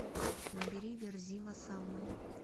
набери верзила салмон